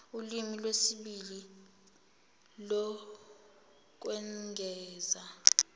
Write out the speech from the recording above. ulimi lwesibili lokwengeza